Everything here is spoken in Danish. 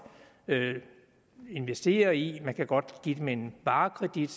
investere i man kan godt give dem en varekredit